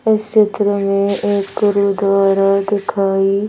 इस क्षेत्र में एक गुरु द्वारा दिखाई--